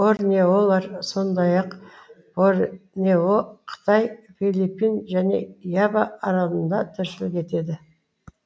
борнеолар сондай ақ борнео қытай филиппин және ява аралында тіршілік етеді